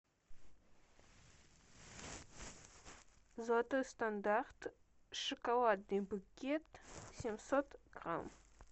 золотой стандарт шоколадный букет семьсот грамм